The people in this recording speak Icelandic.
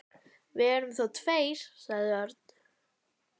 Við erum þó tveir, sagði Örn.